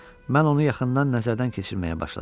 Mən onu yaxından nəzərdən keçirməyə başladım.